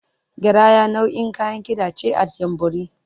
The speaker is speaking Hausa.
Garaya nau’in Kayan Kida ce at ‘Yanbori.